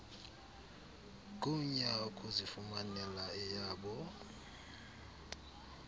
gunya ukuzifumanela eyabo